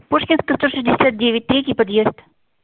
пушкинская сто шестьдесят девять третий подъезд